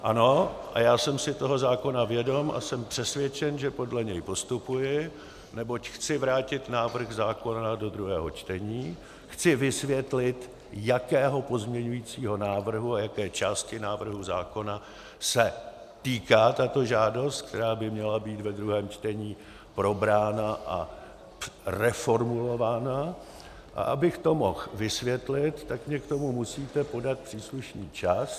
Ano a já jsem si toho zákona vědom a jsem přesvědčen, že podle něj postupuji, neboť chci vrátit návrh zákona do druhého čtení, chci vysvětlit, jakého pozměňovacího návrhu a jaké části návrhu zákona se týká tato žádost, která by měla být ve druhém čtení probrána a reformulována, a abych to mohl vysvětlit, tak mi k tomu musíte dát příslušný čas.